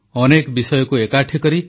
ଆପଣମାନେ ଲକଡାଉନରେ ଏହି ମନ୍ କି ବାତ୍ ଶୁଣୁଛନ୍ତି